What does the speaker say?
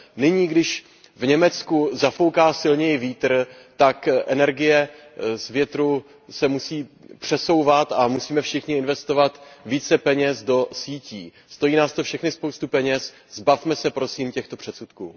Nyní, když v Německu zafouká silněji vítr, tak energie z větru se musí přesouvat a musíme všichni investovat více peněz do sítí. Stojí nás to všechny spoustu peněz, zbavme se prosím těchto předsudků.